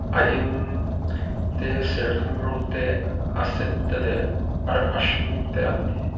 a eng te serthlum rawng te a sen te leh ah a hring te an ni.